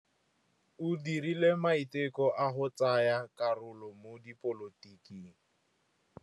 O dirile maitekô a go tsaya karolo mo dipolotiking.